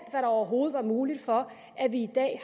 der overhovedet var muligt for at vi i dag